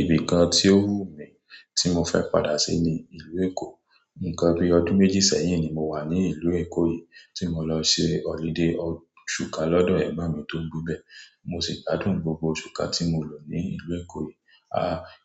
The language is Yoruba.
Ibì kan tí ó wù mí tí mo fẹ́ padà sí ni ìlú Èkó. Nǹkan bí ọdún méjì sẹ́yìn ni mo wà ní ìlú Èkó yìí tí mo lọ ṣe holiday ọ̀ṣù kán lọ́dọ̀ ẹ̀gbọ́n mi tó ń gbé bẹ́. Mo sì gbádùn gbogbo oṣù kán tí mo lò ní ìlú Èkó yìí. A